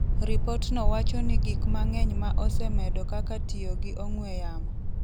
Ripotno wacho ni gik mang’eny ma osemedo kaka tiyo gi ong'we yamo